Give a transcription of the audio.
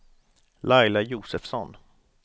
Laila Josefsson